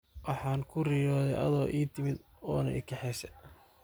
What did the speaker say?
Waxan kuriyodhe adho iitimid ona ikaxese.